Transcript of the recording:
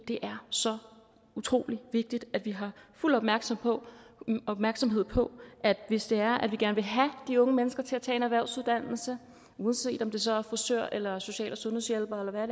det er så utrolig vigtigt at vi har fuld opmærksomhed opmærksomhed på hvis det er at vi gerne vil have de unge mennesker til at tage en erhvervsuddannelse uanset om det så er som frisør eller social og sundhedshjælper eller hvad